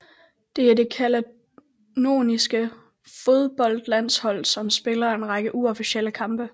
Det er det Cataloniens fodboldlandshold som spiller en række uofficielle kampe